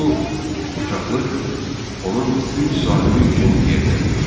Bu qoçaqlıq onun üç sahibi üçün yerinə düşdü.